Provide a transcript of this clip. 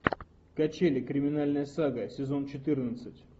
качели криминальная сага сезон четырнадцать